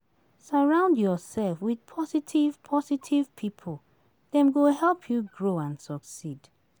Surround yourself with positive positive pipo; dem go help you grow and succeed.